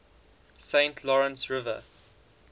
saint lawrence river